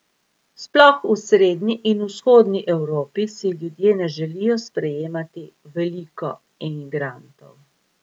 Sploh v srednji in vzhodni Evropi si ljudje ne želijo sprejemati veliko emigrantov.